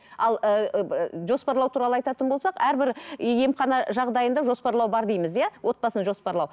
ал ыыы жоспарлау туралы айтатын болсақ әрбір емхана жағдайында жоспарлау бар дейміз иә отбасын жоспарлау